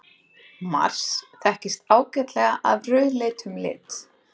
Mars þekkist ágætlega af rauðleitum lit.